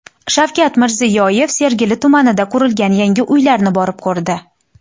Shavkat Mirziyoyev Sergeli tumanida qurilgan yangi uylarni borib ko‘rdi .